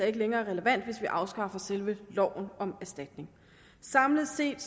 ikke længere er relevant hvis vi afskaffer selve loven om erstatning samlet set